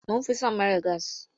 Mun fi son mara gas.